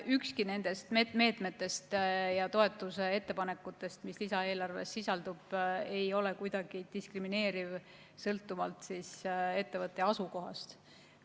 Ükski nendest meetmetest ja toetuse ettepanekutest, mis lisaeelarves sisaldub, ei ole kuidagi diskrimineeriv sõltuvalt ettevõtte asukohast.